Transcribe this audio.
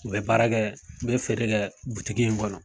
U bɛ baara kɛ u bɛ feere kɛ in kɔnɔ.